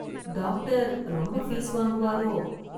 Doctor ரொம்ப fees வாங்குவாரோ?